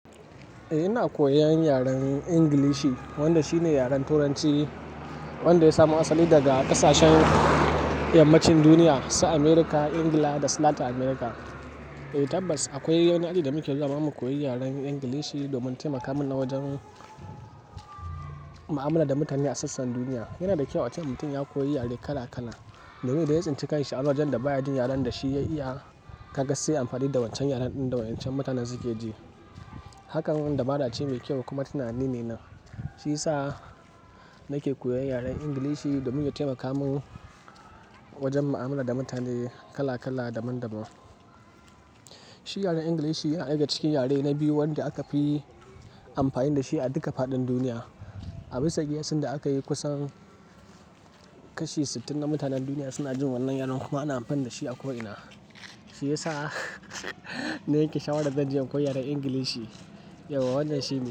Eh ina koyan yaren Ingilishi wanda shine yaren Turanci wanda ya samo asali daga ƙasashen yammacin duniya, su America, engila dasu lata Amurka. Tabbas akwai wani aji da muke zuwa mako koyi yaren Ingilishi domin taimaka mana wajen mu'amala da mutane a sassan duniya. Yana da kyau ace mutum ya koyi yare kala kala domin idan ya tsinci kanshi a wajajen da baya jin yaren da shi ya iya ka ga sai anfani da wancan yaren ɗin da waɗancan mutanen suke ji. Hakan wani dabara ce mai kyau kuma tunani ne nan, shi yasa nake koyan yaren Ingilishi domin ya taimaka min wajen mu'amala da mutane kala kala daban-daban. Shi yaren Ingilishi yana ɗaya daga cikin yare na biyu wanda aka fi amfani da shi a duka faɗin duniya. A bisa kiyasin da aka yi kusan kashi sittin na mutanen duniya suna jin wannan yaren kuma ana amfani da shi a ko'ina. Shi ya sa na yanke sha'warar zanje koyan yaren Ingilishi. Yawa wannan shine.